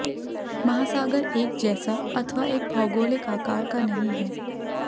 महासागर एक जैसा अथवा एक भौगोलिक आकार का नहीं है